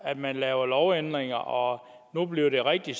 at man laver lovændringer og nu bliver det rigtig